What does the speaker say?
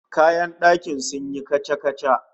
Kayan dakin sun yi kaca-kaca